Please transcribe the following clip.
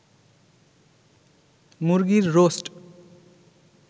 মুরগির রোস্ট